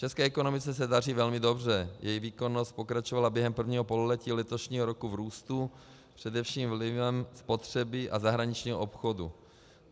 České ekonomice se daří velmi dobře, její výkonnost pokračovala během prvního pololetí letošního roku v růstu především vlivem spotřeby a zahraničního obchodu.